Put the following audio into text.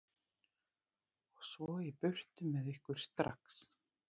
Og svo í burtu með ykkur, STRAX.